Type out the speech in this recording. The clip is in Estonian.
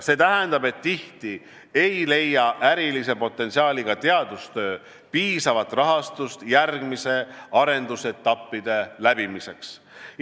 See tähendab, et tihti ei leia ärilise potentsiaaliga teadustöö piisavat rahastust järgmiste arendusetappide läbimiseks.